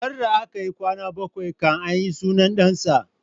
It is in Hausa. Sarda akayi kwana bakwai kan ayi sunan ɗan sa